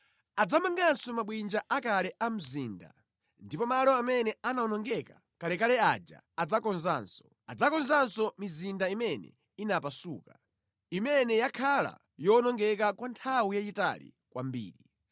Adzamanganso mabwinja akale a mzinda ndipo malo amene anawonongeka kalekale aja adzakonzanso. Adzakonzanso mizinda imene inapasuka, imene yakhala yowonongeka kwa nthawi yayitali kwambiri.